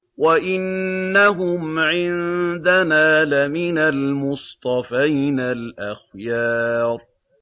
وَإِنَّهُمْ عِندَنَا لَمِنَ الْمُصْطَفَيْنَ الْأَخْيَارِ